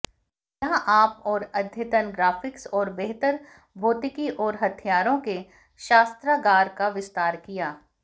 यहाँ आप और अद्यतन ग्राफिक्स और बेहतर भौतिकी और हथियारों के शस्त्रागार का विस्तार किया